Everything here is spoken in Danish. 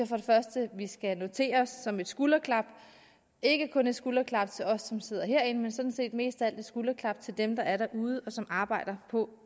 for det første vi skal notere os som et skulderklap ikke kun et skulderklap til os som sidder herinde men sådan set mest af alt et skulderklap til dem der er derude og som arbejder på